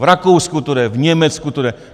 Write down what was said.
V Rakousku to jde, v Německu to je.